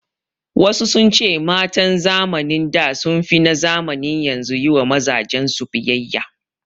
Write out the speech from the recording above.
Wasu sun ce matan zamanin da sun fi na zamanin yanzu yi wa mazajen su biyayya